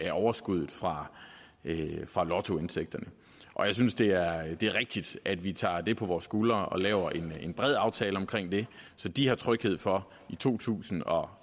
af overskuddet fra fra lottoindtægterne og jeg synes det er rigtigt rigtigt at vi tager det på vores skuldre og laver en bred aftale omkring det så de har tryghed for i to tusind og